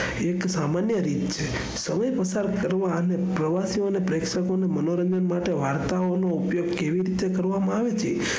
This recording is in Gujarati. એક સામાન્ય રીત છે તમે પસાર કરવા અને પ્રવાસીઓ ના પ્રેક્ષકોના મનોરંજન માટે વાર્તા ઓનું ઉપયોગ કઈ રીતે કરવામાં આવે છે.